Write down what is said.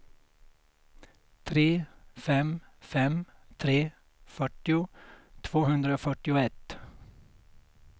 tre fem fem tre fyrtio tvåhundrafyrtioett